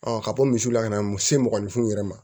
ka bɔ misiw la ka na muso mɔgɔninfinw yɛrɛ ma